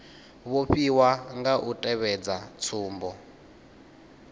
vhofhiwa nga u tevhedza tsumbo